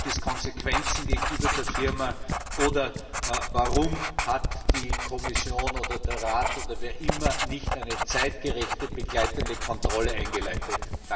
Gibt es Konsequenzen gegenüber der Firma? Oder warum hat die Kommission, der Rat oder wer auch immer nicht eine zeitgerechte begleitende Kontrolle eingeleitet?